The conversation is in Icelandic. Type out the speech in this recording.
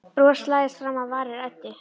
Bros læðist fram á varir Eddu.